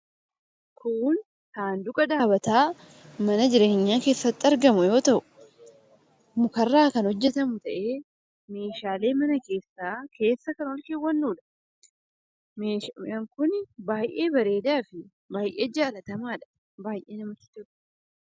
Kun saanduqa dhaabbataa mana jireenyaa keessatti argamu yoo ta'u, muka irraa kan hojjetamu ta'ee, meeshaalee mana keessaa keessa kan ol keewwannuudha. Meeshaan kun baay'ee bareedaa fi baay'ee jaallatamaadha. Baay'ee namatti tola.